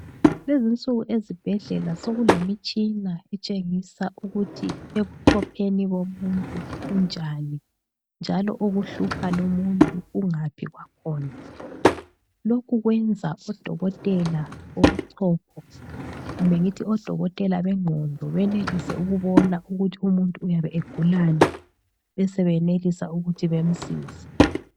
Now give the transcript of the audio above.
Kulezinsuku ezibhedlela sokulemitshina etshengisa ukuthi ebuchopheni bomuntu kunjani, njalo okuhlupha lumuntu kungaphi kwakhona lokhu kwenza odokotela wobuchopho kumbe ngithi odokotela bengqondo benelise ukubona ukuthi umuntu uyabe egulani besebenelisa ukuthi bemsize.